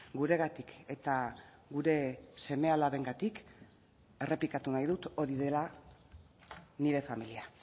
guregatik eta gure seme alabengatik errepikatu nahi dut hori dela nire familia